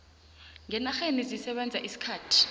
ngenarheni zisebenza isikhathi